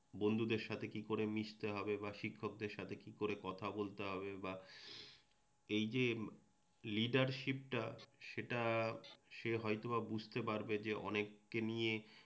বন্ধুদের সাথে কি করে মিশতে হবে বা শিক্ষকদের সাথে কি করে কথা হবে, এই যে লিডারশিপটা সেটা সে হয়ত বা বুঝতে পারবে যে অনেককে নিয়ে